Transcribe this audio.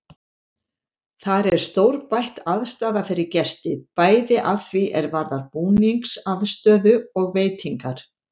Þar er stórbætt aðstaða fyrir gesti, bæði að því er varðar búningsaðstöðu og veitingar.